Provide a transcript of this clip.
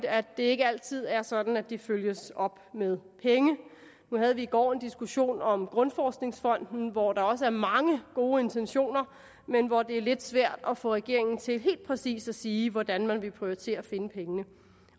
at det ikke altid er sådan at de følges op med penge nu havde vi i går en diskussion om grundforskningsfonden hvor der også er mange gode intentioner men hvor det er lidt svært at få regeringen til helt præcis at sige hvordan man vil prioritere at finde pengene